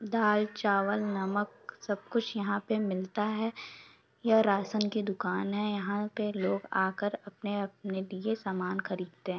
दाल चावल नमक सब कुछ यहाँ पे मिलता हैं यह राशन की दुकान हैं यहाँ पे लोग आकर अपने-अपने लिए सामान खरीदते हैं।